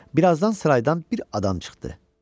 Bir azdan sıraydan bir adam çıxdı.